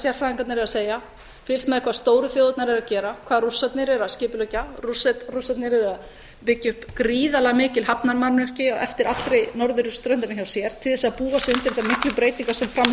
sérfræðingarnir eru að segja fylgst með hvað stóru þjóðirnar eru að gera hvað rússarnir eru að skipuleggja rússarnir eru að byggja upp gríðarlega mikil hafnarmannvirki eftir allri norðurströndinni hjá sér til þess að búa sig undir þessar miklu breytingar sem framundan